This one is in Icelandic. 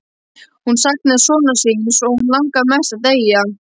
Hún saknaði sonar síns og hana langaði mest að deyja.